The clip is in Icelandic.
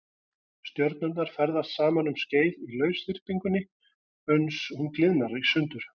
Stjörnurnar ferðast saman um skeið í lausþyrpingunni uns hún gliðnar í sundur.